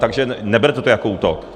Takže neberte to jako útok.